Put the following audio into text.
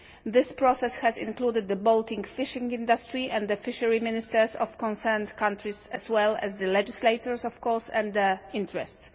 This process has included the Baltic fishing industry and the fishery ministers of concerned countries as well as the legislators of course, and their interests.